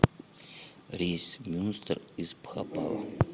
рейс в мюнстер из бхопала